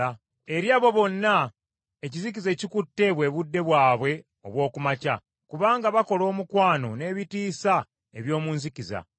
Eri abo bonna ekizikiza ekikutte bwe budde bwabwe obw’oku makya. Kubanga bakola omukwano n’ebitiisa eby’omu nzikiza.